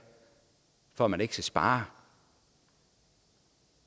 for at man ikke skal spare